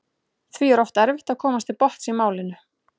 Því er oft erfitt að komast til botns í málinu.